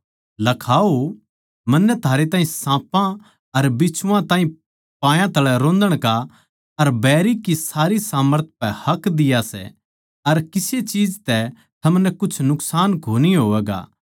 लखाओ मन्नै थारै ताहीं साँपां अर बिच्छुआं ताहीं पायां तळै रोंदण का अर बैरी की सारी सामर्थ पै हक दिया सै अर किसे चीज तै थमनै कुछ नुकसान कोनी होवैगा